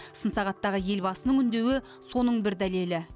сын сағаттағы елбасының үндеуі соның бір дәлелі